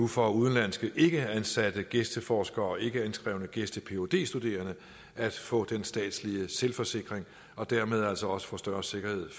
for udenlandske ikkeansatte gæsteforskere og ikkeindskrevne gæste phd studerende at få den statslige selvforsikring og dermed altså også få større sikkerhed